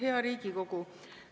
Hea Riigikogu!